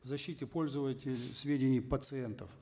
защите пользователей сведений пациентов